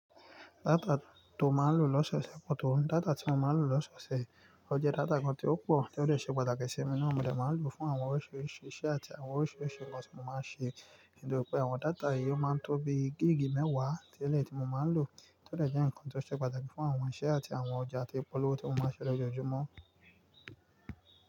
Data tó máa ń lò loṣọ ṣe pọ̀ tó, data tí mo máa ń lò loṣọ ṣe ó jẹ́ data kan tí ó pọ̀, ó jẹ́ data kan tí ó ṣe pàtàkì sí mi nínú ohun mi ó máa ń lò fún àwọn oríṣiríṣi iṣẹ́ àti àwọn oríṣiríṣi ǹkan tí mo máa ń ṣe, nítorí pé àwọn data yìí ó máa ń tó bí gigii mẹ́wàá tẹ́lẹ̀ tí mo máa ń lò, ó dẹ̀ jẹ́ ǹkan tí ó ṣe pàtàkì fún àwọn iṣẹ́ àti àwọn ọjà tí polówó tí mo máa ń ṣe lójoojúmọ́.